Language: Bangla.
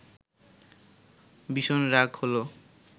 ভীষণ রাগ হলো